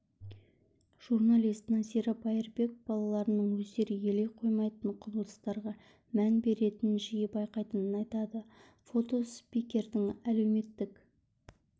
журналист назира байырбек балаларының өздері елей қоймаййтын құбылыстарға мән беретінін жиі байқайтынын айтады фото спикердің әлеуметтік